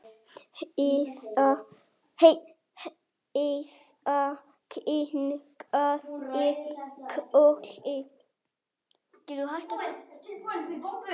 Heiða kinkaði kolli.